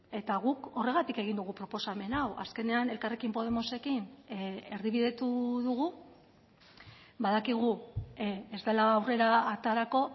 eta guk horregatik egin dugu proposamen hau azkenean elkarrekin podemosekin erdibidetu dugu badakigu ez dela aurrera aterako